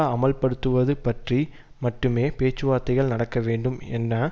அமல்படுத்துவது பற்றி மட்டுமே பேச்சுவார்த்தைகள் நடக்க வேண்டும் என